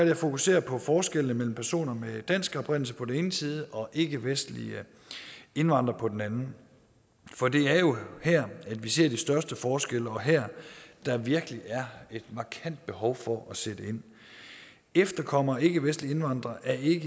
jeg fokusere på forskellene mellem personer af dansk oprindelse på den ene side og ikkevestlige indvandrere på den anden for det er jo her at vi ser de største forskelle og her der virkelig er et markant behov for at sætte ind efterkommere af ikkevestlige indvandrere er ikke